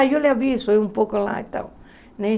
Ah, eu lhe aviso, é um pouco lá e tal, né?